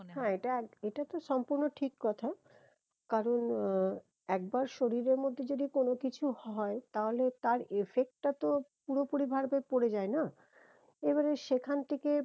হ্যাঁ এটা এটা তো সম্পূর্ণ ঠিক কথা কারণ আহ একবার শরীরের মধ্যে যদি কোনো কিছু হয় তাহলে তার effect টা তো পুরো পুরি ভার ভেদ পরে যায় না এবারে সেখান থেকে